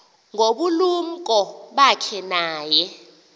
ngobulumko bakhe naye